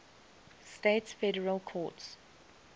states federal courts